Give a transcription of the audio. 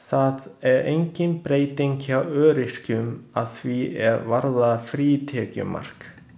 Það er engin breyting hjá öryrkjunum að því er varðar frítekjumark.